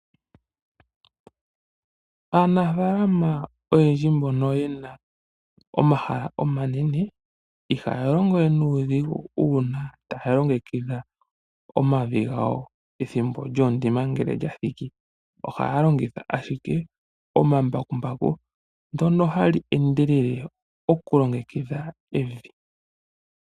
Aanafalama oyendji mbono yena omahala omanene ihaya longowe nuudhigu uuna taya longekidha omavi gawo ethimbo lyoondima ngele lyathiki. Ohaya longitha ashike omambakumbaku, ndyono hali endelele okulongekidha evi.